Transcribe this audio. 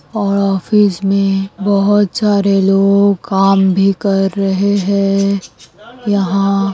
और ऑफिस में बहुत सारे लोग काम भी कर रहे हैं यहाँ --